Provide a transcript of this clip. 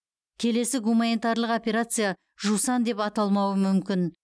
келесі гуманитарлық операция жусан деп аталмауы мүмкін